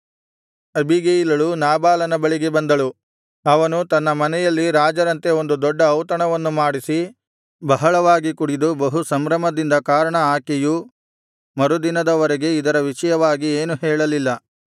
ಅಬೀಗೈಲಳು ನಾಬಾಲನ ಬಳಿಗೆ ಬಂದಳು ಅವನು ತನ್ನ ಮನೆಯಲ್ಲಿ ರಾಜರಂತೆ ಒಂದು ದೊಡ್ಡ ಔತಣವನ್ನು ಮಾಡಿಸಿ ಬಹಳವಾಗಿ ಕುಡಿದು ಬಹು ಸಂಭ್ರಮದಿಂದ ಕಾರಣ ಆಕೆಯು ಮರುದಿನದ ವರೆಗೆ ಇದರ ವಿಷಯವಾಗಿ ಏನೂ ಹೇಳಲಿಲ್ಲ